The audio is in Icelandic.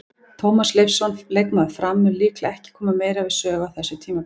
Tómas Leifsson, leikmaður Fram, mun líklega ekki koma meira við sögu á þessu tímabili.